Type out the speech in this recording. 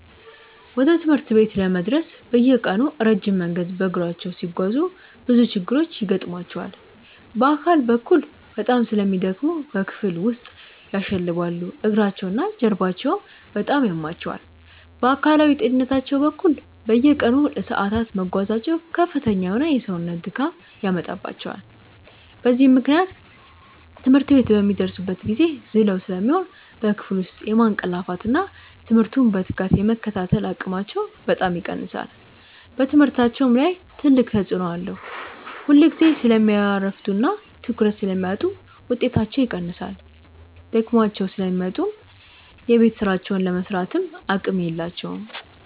ወደ ትምህርት ቤት ለመድረስ በየቀኑ ረጅም መንገድ በእግራቸው ሲጓዙ ብዙ ችግሮች ይገጥሟቸዋል። በአካል በኩል በጣም ስለሚደክሙ በክፍል ውስጥ ያሸልባሉ፤ እግራቸውና ጀርባቸውም በጣም ያማቸዋል። በአካላዊ ጤንነታቸው በኩል፣ በየቀኑ ለሰዓታት መጓዛቸው ከፍተኛ የሆነ የሰውነት ድካም ያመጣባቸዋል። በዚህም ምክንያት ትምህርት ቤት በሚደርሱበት ጊዜ ዝለው ስለሚሆኑ በክፍል ውስጥ የማንቀላፋትና ትምህርቱን በትጋት የመከታተል አቅማቸው በጣም ይቀንሳል። በትምህርታቸውም ላይ ትልቅ ተጽዕኖ አለው፤ ሁልጊዜ ስለሚያረፍዱና ትኩረት ስለሚያጡ ውጤታቸው ይቀንሳል። ደክሟቸው ስለሚመጡ የቤት ሥራቸውን ለመሥራትም አቅም የላቸውም።